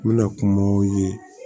N bɛna kumaw ye